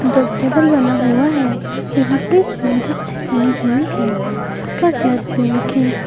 दो टेबल बना हुआ है जो लकड़ी की मदद से बनी हुई है जिसका कलर पिंक है।